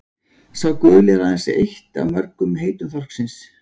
Sá guli er aðeins eitt af mörgum heitum þorsksins.